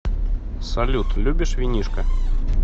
салют любишь винишко